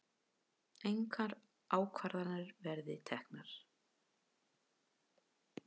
Engar ákvarðanir verið teknar